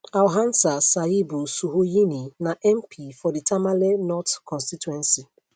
alhassan sayibu suhuyini na mp for di tamale north constituency